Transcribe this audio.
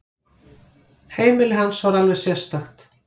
Heimili hans var alveg sérstakt.